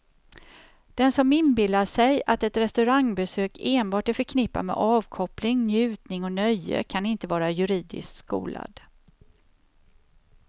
Den som inbillat sig att ett restaurangbesök enbart är förknippat med avkoppling, njutning och nöje kan inte vara juridiskt skolad.